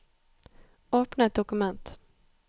Åpne et dokument